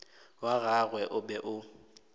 wa gagwe o be o